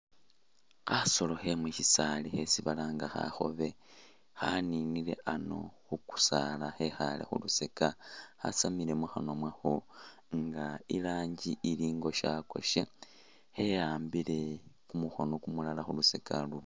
Khasoolo khe mushisaali khesi balanga khakhobe khaninile ano khukusaala khekhaale khubisaaka khasaamile mukhanwa mwakho nga ilangi ili ingoshakoshe khiyambile kumukhono kumulala kulusaga luno.